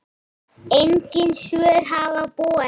Engin svör hafa borist.